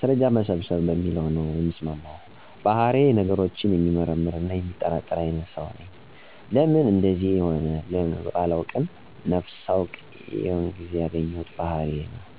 ማስርረጃ መሰብሰብ በሚለው ነው የምስማማው። ባህሪየ ነገሮችን የሚመረምር እና የሚጠራጠር አይነት ሰው ነኝ። ለምን እንደዚ እንደሆነ በደንብ ባላቀውም ነፍስ ሳውቅ ይዜው ያገኘሁት ባህሪ ነው። በዚህም ምክንያት የምሠማውን ነገር በደንብ አጣርቼ ሚጋጭ ነገር ካገኘሁ በማስረጃ ላይ በተደገፈ ነገር ብቻ ነወ ውሳኔ የምሰጠው። እኔ ስተት መሆኔን ሳውቅ በቻ ነው ነገሩን ልተወው የምችለው።